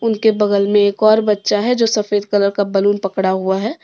उनके बगल में एक और बच्चा है जो सफेद कलर का बैलून पड़ा हुआ है ।